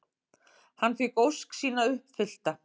Hann fékk ósk sína uppfyllta.